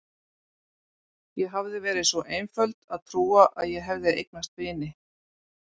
Ég hafði verið svo einföld að trúa að ég hefði eignast vini.